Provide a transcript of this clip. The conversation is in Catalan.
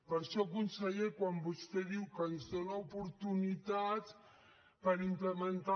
per això conseller quan vostè diu que ens dóna oportunitats per implementar